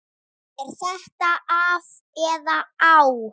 Er þetta af eða á?